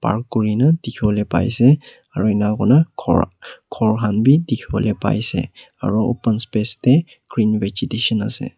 aro kuri na dikhibole pai se aru ena koina ghor ghor khan bhi dikhi bole pai se aro open space teh green vegetation ase.